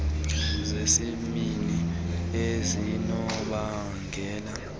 zesibini ezinobangela ubumfama